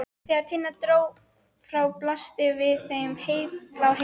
Þegar Tinna dró frá blasti við þeim heiðblár himinn.